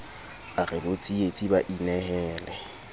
a re botsietsi ba inehele